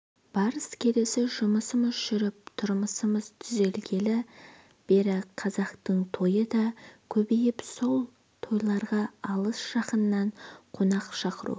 барыс-келісі жұмысымыз жүріп тұрмысымыз түзелгелі бері қазақтың тойы да көбейіп сол тойларға алыс-жақыннан қонақ шақыру